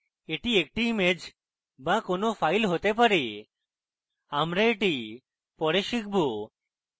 এটি একটি image be কোনো file হতে পারে আমরা এটি পরে শিখব